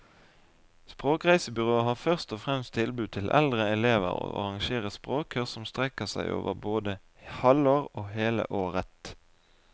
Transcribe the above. Språkreisebyrået har først og fremst tilbud til eldre elever og arrangerer språkkurs som strekker seg over både halvår og hele året.